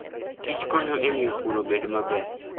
Kich konyo e miyo pur obed maber.